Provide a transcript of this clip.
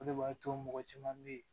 O de b'a to mɔgɔ caman bɛ yen